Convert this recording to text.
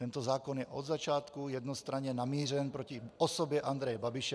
Tento zákon je od začátku jednostranně namířen proti osobě Andreje Babiše.